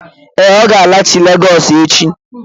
Ee, ọ ga-alaghachi Legọs echi